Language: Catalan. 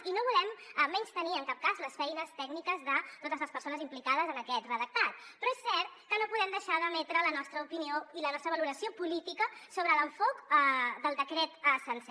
i no volem menystenir en cap cas les feines tècniques de totes les persones implicades en aquest redactat però és cert que no podem deixar d’emetre la nostra opinió i la nostra valoració política sobre l’enfocament del decret sencer